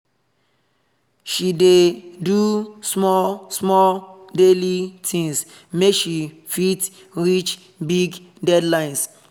she dey do small small daily things make she fit reach big deadlines